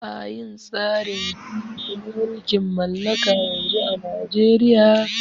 Ba'a yin tsarin gwamnati na mulkin mallaka yanzu a najeria